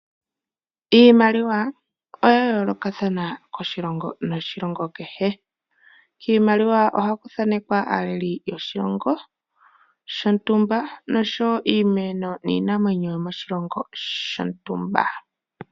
Iimaliwa oya yoolokathana koshilongo noshilongo kehe. Kiimaliwa ohaku thanekwa aaleli yoshilongo, shontumba, nosho wo iimeno niinamwenyo yo moshilongo shontumba.